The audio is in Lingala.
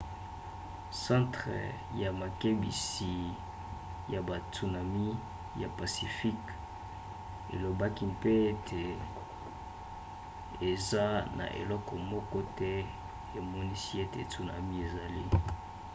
centre ya makebisi ya batsunamis ya pacifique elobaki mpe ete eza na eloko moko te emonisi ete tsunami ezali